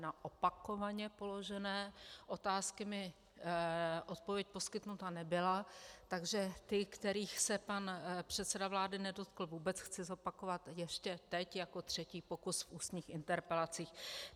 Na opakovaně položené otázky mi odpověď poskytnuta nebyla, takže ty, kterých se pan předseda vlády nedotkl vůbec, chci zopakovat ještě teď jako třetí pokus v ústních interpelacích.